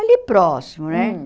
Ali próximo, né?